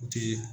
U ti